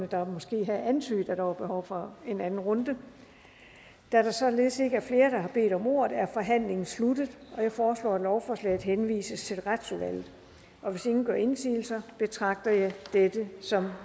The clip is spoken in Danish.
der måske havde antydet at der var behov for en anden runde da der således ikke er flere der har bedt om ordet er forhandlingen sluttet jeg foreslår at lovforslaget henvises til retsudvalget hvis ingen gør indsigelse betragter jeg dette som